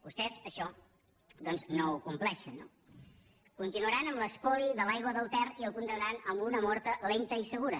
vostès això doncs no ho compleixen no continuaran amb l’espoli de l’aigua del ter i el condemnaran a una mort lenta i segura